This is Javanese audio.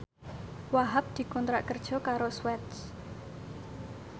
Wahhab dikontrak kerja karo Swatch